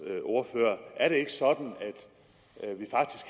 ordfører er det ikke sådan